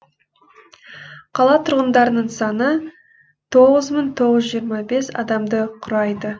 қала тұрғындарының саны тоғыз мың тоғыз жүз жиырма бес адамды құрайды